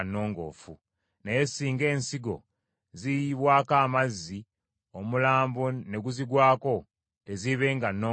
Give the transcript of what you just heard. Naye singa ensigo ziyiyibbwako amazzi, omulambo ne guzigwako, teziibenga nnongoofu gye muli.